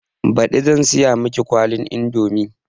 Baɗi zan siya miki kwalin indomi